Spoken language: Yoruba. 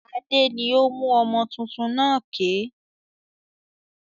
Adé ni ó mú ọmọ tuntun náà ké.